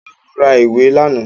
Ìyanu ra ìwé làná